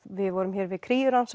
við vorum hér við